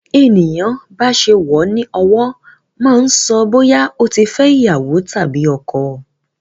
Bí ènìyàn bá ṣe wọ ní ọwọ́ máa ń so bóyá ó ti fẹ́ iyawo tàbí ọkọ.